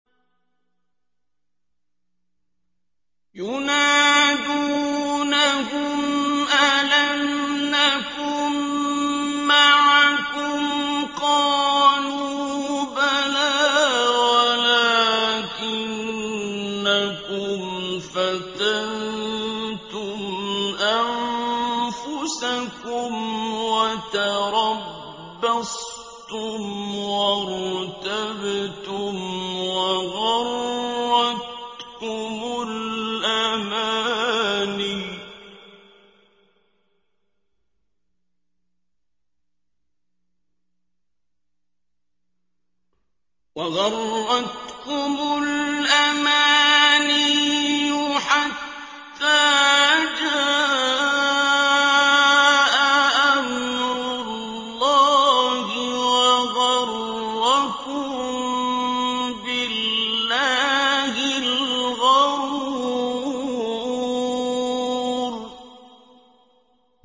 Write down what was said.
يُنَادُونَهُمْ أَلَمْ نَكُن مَّعَكُمْ ۖ قَالُوا بَلَىٰ وَلَٰكِنَّكُمْ فَتَنتُمْ أَنفُسَكُمْ وَتَرَبَّصْتُمْ وَارْتَبْتُمْ وَغَرَّتْكُمُ الْأَمَانِيُّ حَتَّىٰ جَاءَ أَمْرُ اللَّهِ وَغَرَّكُم بِاللَّهِ الْغَرُورُ